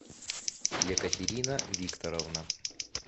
екатерина викторовна